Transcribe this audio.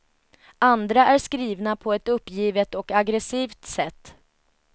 Andra är skrivna på ett uppgivet och aggressivt sätt.